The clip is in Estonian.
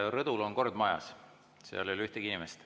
Rõdul on kord majas, seal ei ole ühtegi inimest.